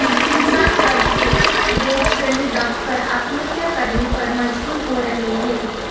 किसान कर्ज के बोझ तले दब कर आत्महत्या करने पर मजबूर हो रहे है